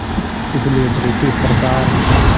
इसलिए ब्रिटिश सरकार